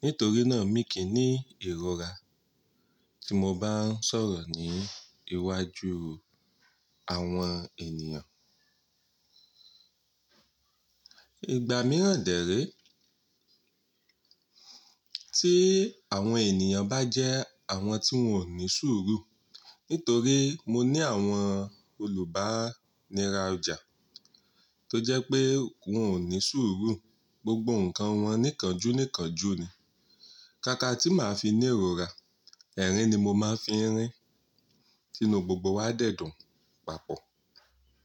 Nítorí náà mi kì í ní ìrora tí mo bá ń sọ̀rọ̀ ní iwájú àwọn ènìyàn. Ìgbà mìíràn dè ré, tí àwọn ènìyàn bá jẹ́ àwọn tí wọ́n ò ní sùúrù. Nítorí mo ní àwọn olùbá nira ọjà tó jẹ́ pé wọ́n ò ní sùúrù, gbogbo nǹkan wọn nìkanjú nìkanjú ni. Kaka tí màá fi ní ìrora, ẹ̀rín ni mo máa fi ń rín, tinu gbogbo wa dẹ̀ dùn papọ̀.